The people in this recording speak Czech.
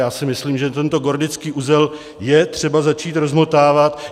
Já si myslím, že tento gordický uzel je třeba začít rozmotávat.